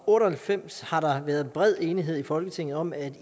otte og halvfems har der været bred enighed i folketinget om at